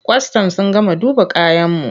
Kwastam sun gama duba kayanmu.